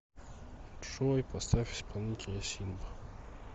джой поставь исполнителя синб